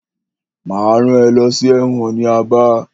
Máa rán ẹ lọ sí ẹ̀wọ̀n ní Aba.